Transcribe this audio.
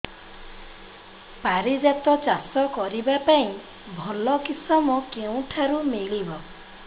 ପାରିଜାତ ଚାଷ କରିବା ପାଇଁ ଭଲ କିଶମ କେଉଁଠାରୁ ମିଳିବ